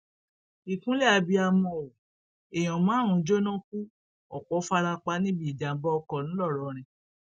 ìkúnlẹ abiyamọ o èèyàn márùnún jóná ku ọpọ fara pa níbi ìjàmbá ọkọ ńlọrọrìn